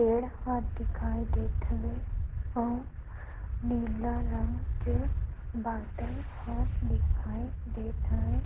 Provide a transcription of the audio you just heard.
पेड़ ह दिखाई देत हवे अऊ नीला रंग के बॉटल ह दिखाई देत हवे--